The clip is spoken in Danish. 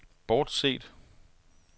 bortset